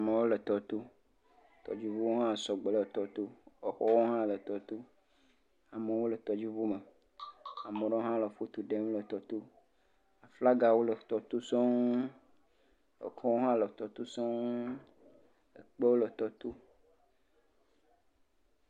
Amewo le tɔ to, Tɔdzi ʋu hã sɔgbɔ le tɔ to, e xɔ wo hã le tɔ to. Amewo le tɔdzi ʋu me, ame ɖe hã le foto ɖem le tɔ to, aflanga wo le tɔto sɔŋ akro wo hã le tɔ to sɔŋ e kpe wo le tɔ to.